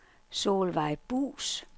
Solvejg Buus